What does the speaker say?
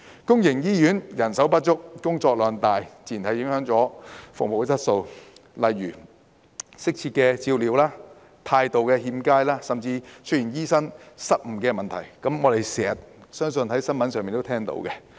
公營醫院人手不足，工作量大，自然影響服務質素，例如缺乏適切照料、態度欠佳，甚至出現醫生失誤問題，相信大家經常在新聞中聽聞。